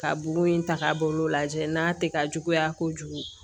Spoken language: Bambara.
Ka bugun in ta k'a bolo lajɛ n'a tɛ ka juguya kojugu